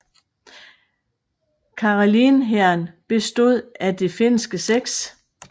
Karelen Hæren bestod af det finske 6